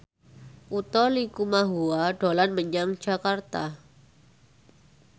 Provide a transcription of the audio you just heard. Utha Likumahua dolan menyang Jakarta